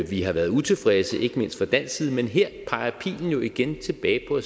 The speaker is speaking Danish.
vi har været utilfredse ikke mindst fra dansk side men her peger pilen jo igen tilbage på